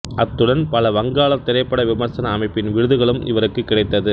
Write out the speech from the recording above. அத்துடன் பல வங்காளத் திரைப்பட விமர்சன அமைப்பின் விருதுகளும் இவருக்கு கிடைத்தது